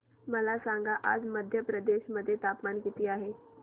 मला सांगा आज मध्य प्रदेश मध्ये तापमान किती आहे